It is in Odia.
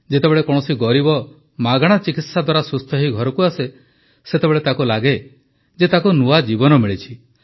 ଯେତେବେଳେ କୌଣସି ଗରିବ ମାଗଣା ଚିକିତ୍ସା ଦ୍ୱାରା ସୁସ୍ଥ ହୋଇ ଘରକୁ ଆସେ ସେତେବେଳେ ତାକୁ ଲାଗେ ଯେ ତାକୁ ନୂଆ ଜୀବନ ମିଳିଛି